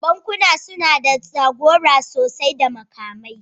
Bankunan suna da jagora sosai da makamai